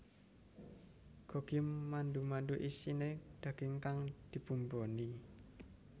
Gogi mandu mandu isine daging kang dibumboni